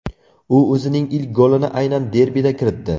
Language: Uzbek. U o‘zining ilk golini aynan derbida kiritdi.